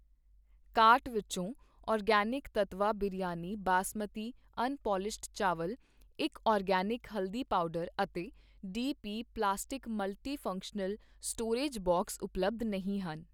cart ਵਿੱਚੋਂ organic Tattva biryani basmati unpolished ਚਾਵਲ ਇੱਕ ਆਰਗੈਨਿਕ ਹਲਦੀ ਪਾਊਡਰ ਅਤੇ D P plastic multi functional storage box ਉਪਲਬਧ ਨਹੀਂ ਹਨ